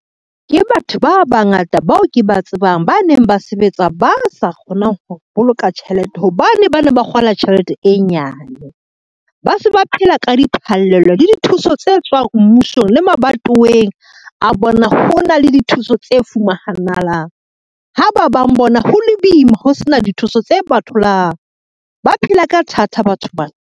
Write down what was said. Ke batho ba bangata bao ke ba tsebang, ba neng ba sebetsa ba sa kgonang ho boloka tjhelete hobane ba ne ba kgola tjhelete e nyane. Ba se ba phela ka diphallelo le dithuso tse tswang mmusong le mabatoweng a bona ho na le dithuso tse fumanahalang, ha ba bang bona ho le boima ho sena dithuso tse ba tholang, ba phela ka thata batho bana.